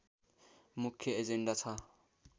मुख्य एजेण्डा छ